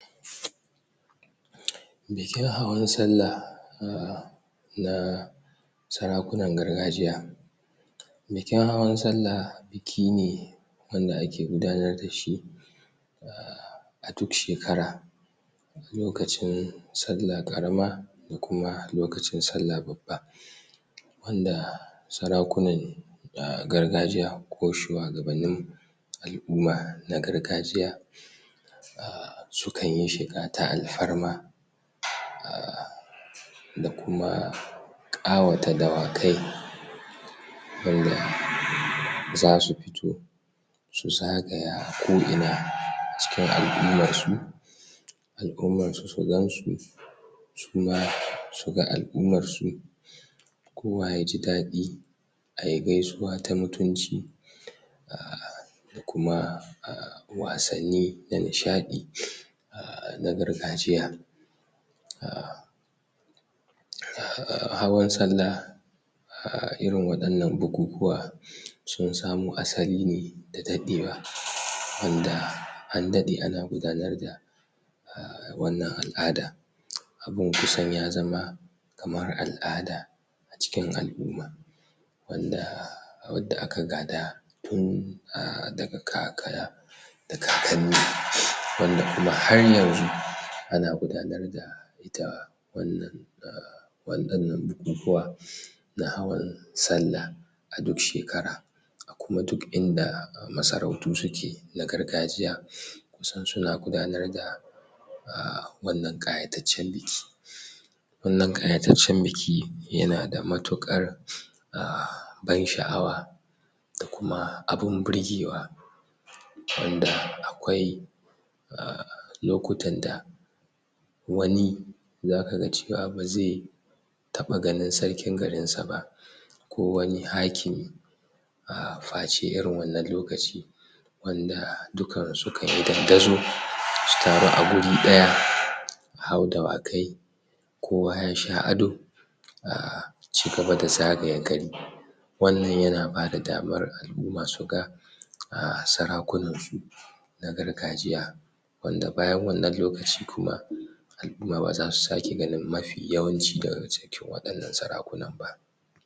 Bikin hawan sallah na sarakunan gargajiy. Bikin hawan sallah biki ne wanda ake gudanar dashi um duk shekara lokacin sallah ƙarama da kuma lokacin sallah babba, wanda sarakunan gargajiya ko shuwagabannin al'uma na gargajiya um sukanyi shiga ta al'farma um da kuma ƙawata dawakai wanda zasu fito su zagaya ko ina cikin al'ummarsu. Al'ummarsu su gansu suma suga al'ummarsu kowa ya jidaɗi ayi gaisuwa ta mutunci a daku um wasanni da nishaɗi a na gargajiya um hawan sallah um irin waɗannan bukukuwa sun samo asaline da daɗewa wanda andaɗe ana gudanar da[um] wannan al'ada abun kusan ya zama kamar al'ada a cikin al'uma wadda aka gada tun [um]daga kaka da kakanni wanda kuma har hanzu ana gudanar da ita wannan a waɗannan bukukuwa na hawan sallah a duk shekara a kuma duk inda masarautu suke na gargajiya kusan suna gudanar da um wannan ƙayatatcan biki. Wannan ƙayataccan biki yana da matuƙar um ban sha'awa da kuma abun burgewa wanda um aƙwai lokutan da wani zaka ga cewa bazai taɓa ganin sarkin garinsa ba ko wani hakimi um face irin wannan lokaci wanda dukansu sukayi dandazo su taru a guri ɗaya su hau dawakai kowa yasha ado ]um] cigaba da zagaye gari wannan yana bada damar[um] al'uma suga um sarakunan su na gargajiya wanda bayan wannan lokaci kuma al'uma baza su sake ganin mafi yawanci daga cikin waɗannan sarakunan ba.